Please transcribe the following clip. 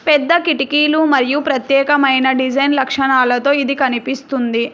పెద్ద కిటికీలు మరియు ప్రత్యేకమైన డిజైన్ లక్షణాలతో ఇది కనిపిస్తుంది.